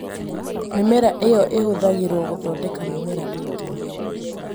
Mĩmera ĩyo ĩhũthagĩrũo gũthondeka mĩmera ĩngĩ